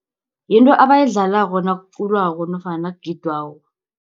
Yinto abayidlalako nakuculwako nofana nakugidwako.